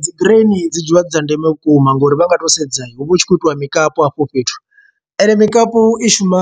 Dzi graini dzi dzula dzi dza ndeme vhukuma ngori vha nga to sedza hu vha hu tshi khou itiwa mikapu hafho fhethu, ende mikapu i shuma